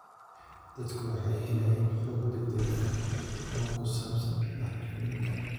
Dadku waxay helayaan xog degdeg ah oo ku saabsan bacriminta.